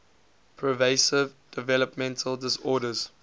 pervasive developmental disorders